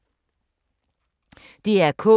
DR K